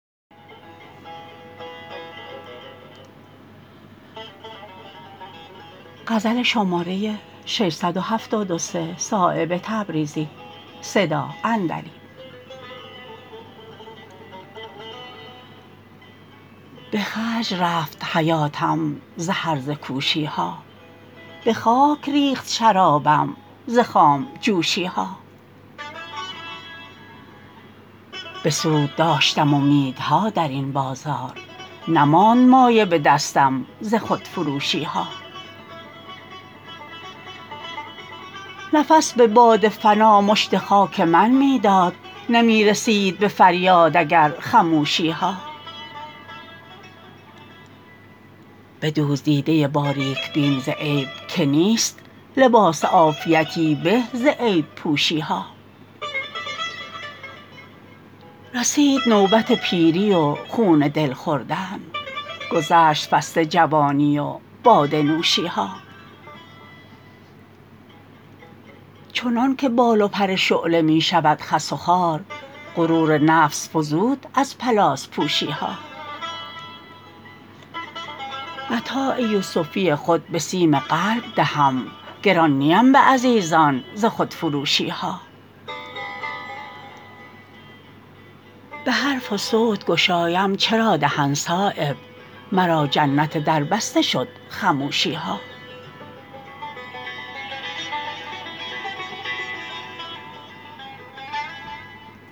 به خرج رفت حیاتم ز هرزه کوشی ها به خاک ریخت شرابم ز خام جوشی ها به سود داشتم امیدها درین بازار نماند مایه به دستم ز خودفروشی ها نفس به باد فنا مشت خاک من می داد نمی رسید به فریاد اگر خموشی ها بدوز دیده باریک بین ز عیب که نیست لباس عافیتی به ز عیب پوشی ها رسید نوبت پیری و خون دل خوردن گذشت فصل جوانی و باده نوشی ها چنان که بال و پر شعله می شود خس و خار غرور نفس فزود از پلاس پوشی ها متاع یوسفی خود به سیم قلب دهم گران نیم به عزیزان ز خودفروشی ها به حرف وصوت گشایم چرا دهن صایب مرا که جنت دربسته شد خموشی ها